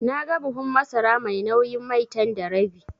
Naga buhun masara mai nauyin Maitan da rabi.